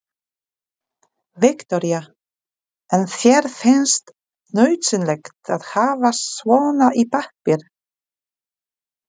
Viktoría: En þér finnst nauðsynlegt að hafa svona í pappír?